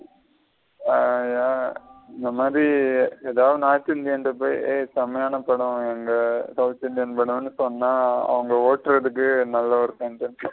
ம் யா இந்த மாதிரி எதா north indian ன்ட்ட போயி ஏய் செமையான படம் எங்க south indian படம்னு சொன்ன அவுங்க ஒட்டுரதுக்கே நல்ல ஒரு contents.